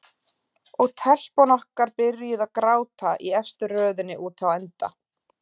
Og telpan okkar byrjuð að gráta í efstu röðinni úti á enda.